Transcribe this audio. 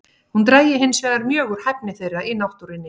Hún drægi hinsvegar mjög úr hæfni þeirra í náttúrunni.